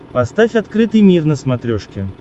поставь открытый мир на смотрешке